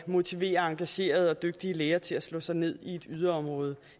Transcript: motivere engagerede og dygtige læger til at slå sig ned i et yderområde